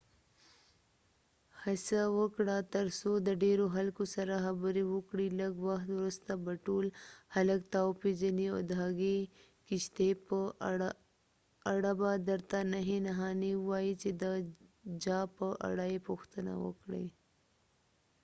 هڅه وکړه تر څو د ډیرو خلکو سره خبری وکړی ، لږ وخت وروسته به ټول خلک تا و پیژنی .او د هغی کښتۍ په اړه به درته نښي نښانی ووایی چی د جا په اړه یی پوښتنه وکړی